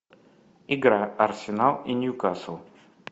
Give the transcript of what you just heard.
игра арсенал и ньюкасл